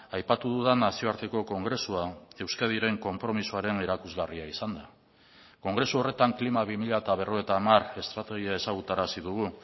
aipatu dudan nazioarteko kongresua euskadiren konpromisoaren erakusgarria izan da kongresu horretan klima bi mila berrogeita hamar estrategia ezagutarazi dugu